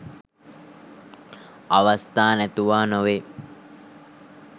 අවස්ථා නැතුවා නොවේ.